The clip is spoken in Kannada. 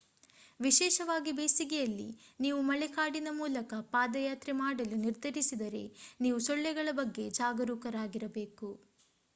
ವಿಶೇಷವಾಗಿ ಬೇಸಿಗೆಯಲ್ಲಿ ನೀವು ಮಳೆಕಾಡಿನ ಮೂಲಕ ಪಾದಯಾತ್ರೆ ಮಾಡಲು ನಿರ್ಧರಿಸಿದರೆ ನೀವು ಸೊಳ್ಳೆಗಳ ಬಗ್ಗೆ ಜಾಗರೂಕರಾಗಿರಬೇಕು